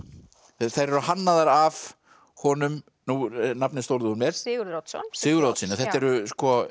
þær eru hannaðar af honum nú er nafnið stolið úr mér Sigurður Oddsson Sigurður Oddsson þetta eru